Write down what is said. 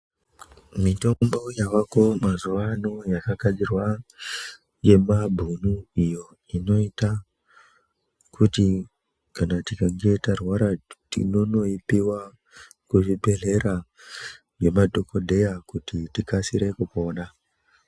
Mitombo yavako mazuvano yakagadzirwa ngemabhunu iyo inoyita kuti kana tikange tarwara tinonoipiwa kuzvibhedhlera nemadhokodheya kuti tikasire kupona.